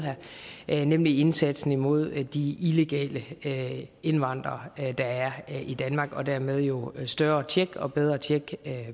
her nemlig indsatsen imod de illegale indvandrere der er i danmark og dermed jo større tjek og bedre tjek